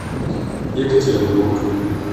екатеринбург